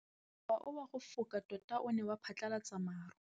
Mowa o wa go foka tota o ne wa phatlalatsa maru.